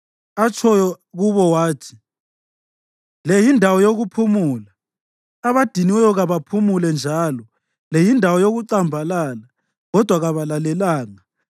atshoyo kubo wathi, “Le yindawo yokuphumula, abadiniweyo kabaphumule”; njalo, “Le yindawo yokucambalala,” kodwa kabalalelanga.